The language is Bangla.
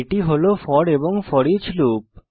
এটি হল ফোর এবং ফোরিচ লুপ